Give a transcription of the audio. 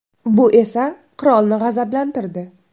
Bu esa qirolni g‘azablantirdi.